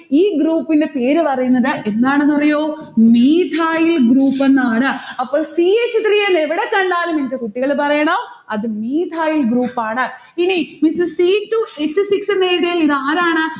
ഈ group ന്റെ പേരു പറയുന്നത് എന്താണെന്നറിയോ methyl എന്നാണ്. അപ്പോൾ c h three നെ എവിടെ കണ്ടാലും എന്റെ കുട്ടികൾ പറയണം അത് methyl group ആണ്. ഇനി h c two h six എന്ന് എഴുതിയാൽ ഇത് ആരാണ്?